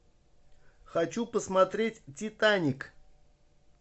хочу посмотреть титаник